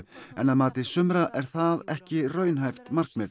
en að mati sumra er það ekki raunhæft markmið